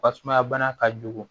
Fasumaya bana ka jugu